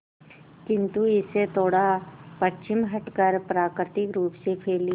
किंतु इससे थोड़ा पश्चिम हटकर प्राकृतिक रूप से फैली